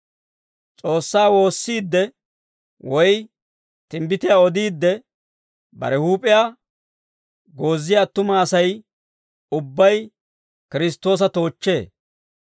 S'oossaa woossiidde, woy timbbitiyaa odiidde, bare huup'iyaa gooziyaa attuma Asay ubbay Kiristtoosa toochchee.